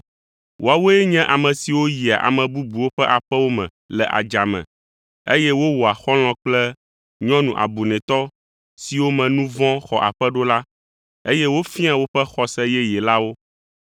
Woawoe nye ame siwo yia ame bubuwo ƒe aƒewo me le adzame, eye wowɔa xɔlɔ̃ kple nyɔnu abunɛtɔ siwo me nu vɔ̃ xɔ aƒe ɖo la, eye wofiaa woƒe xɔse yeye la wo.